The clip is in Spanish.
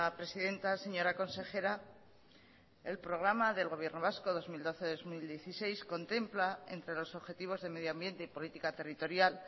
presidenta señora consejera el programa del gobierno vasco dos mil doce dos mil dieciséis contempla entre los objetivos de medio ambiente y política territorial